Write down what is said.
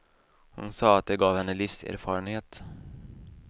Hon sa att det gav henne livserfarenhet.